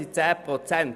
Das sind 10 Prozent.